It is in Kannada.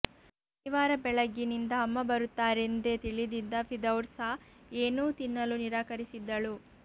ಶನಿವಾರ ಬೆಳಗ್ಗಿನಿಂದ ಅಮ್ಮ ಬರುತ್ತಾರೆಂದೇ ತಿಳಿದಿದ್ದ ಫಿರ್ದೌಸಾ ಏನ್ನೂ ತಿನ್ನಲು ನಿರಾಕರಿಸಿದ್ದಳು